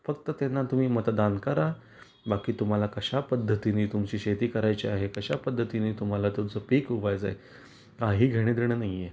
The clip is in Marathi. फक्त त्यांना तुम्ही मतदान करा बाकी तुम्हाला कश्या पद्धतीने तुमची शेती करायची आहे, कश्या पद्धतीने तुम्हाला तुमच पिक ऊगवायच आहे, काही घेण देण नाही आहे.